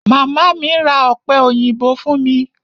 Màmá mi ra ọ̀pẹ òyìnbó fún mi.